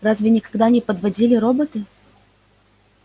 разве никогда не подводили роботы